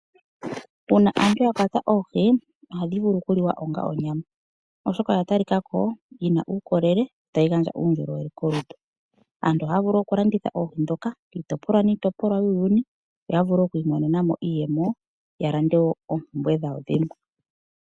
Uuna aantu yakwata oohi, ohadhi vulu oku liwa onga onyama, oshoka oya talika ko onga yina uukolele tayi gandja uundjolowele kolutu. Aantu ohaa vulu oku landitha oohi dhoka kiitopolwa niitopolwa yuuyuni , yo yavule okwiimonena mo iiyemo ,yalande woo oompumbwe dhawo dhimwe.